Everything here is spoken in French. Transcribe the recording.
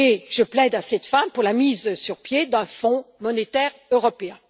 Je plaide à cette fin pour la mise sur pied d'un fonds monétaire européen.